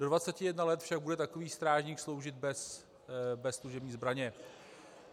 Do 21 let však bude takový strážník sloužit bez služební zbraně.